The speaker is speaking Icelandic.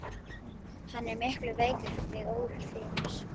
Hann er miklu veikari en þig órar fyrir.